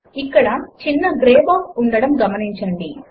ఇక్కడ చిన్న grey box ఉండడమును గమనించండి